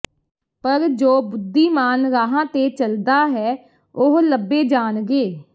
ਪਰ ਜੋ ਬੁੱਧੀਮਾਨ ਰਾਹਾਂ ਤੇ ਚੱਲਦਾ ਹੈ ਉਹ ਲੱਭੇ ਜਾਣਗੇ